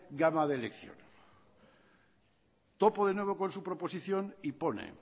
gama de elección topo de nuevo con su proposición y pone